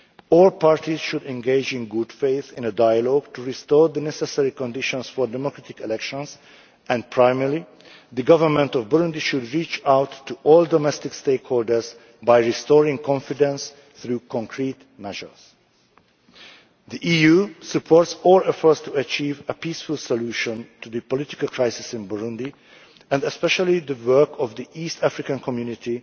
All parties should engage in good faith in a dialogue to restore the necessary conditions for democratic elections and, primarily, the government of Burundi should reach out to all domestic stakeholders by restoring confidence through concrete measures. The EU supports all efforts to achieve a peaceful solution to the political crisis in Burundi and especially the work of the East African Community,